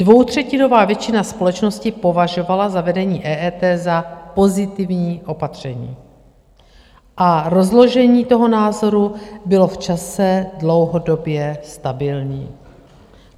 Dvoutřetinová většina společnosti považovala zavedení EET za pozitivní opatření a rozložení toho názoru bylo v čase dlouhodobě stabilní.